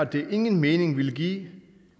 det ingen mening ville give